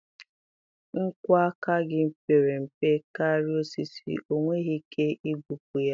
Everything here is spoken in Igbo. Nkwọ aka gị pere mpe karịa osisi, ọ nweghị ike igbubi ya.